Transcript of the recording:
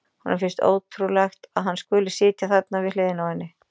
Honum finnst ótrúlegt að hann skuli sitja þarna við hliðina á henni.